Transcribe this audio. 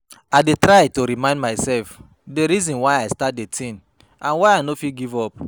I dey try to remind myself di reason why i start di thing and why i no fit give up.